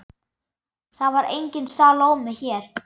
Það var engin Salóme hér.